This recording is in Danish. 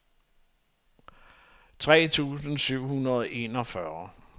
tre tusind syv hundrede og enogfyrre